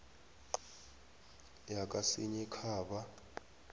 yakasinyikhaba